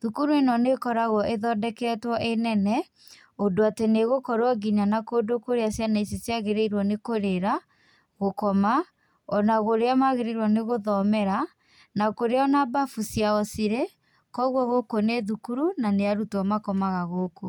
Thukuru ĩno nĩ ĩkoragwo ĩthondeketwo ĩ-nene, ũndũ atĩ nĩ ĩgũkorwo ngĩnya na kũndũ kũrĩa ciana ici ciagĩrĩorwo nĩ kũrĩra, gũkoma, ona kũrĩa magĩrĩirwo nĩ gũthomera, na kũrĩa ona mbabu ciao cirĩ. Koguo gũkũ nĩ thukuru, na nĩ arutwo makomaga gũkũ.